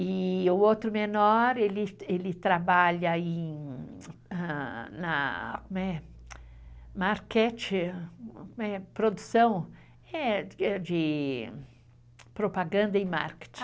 E o outro menor, ele trabalha na marketing, produção de propaganda e marketing.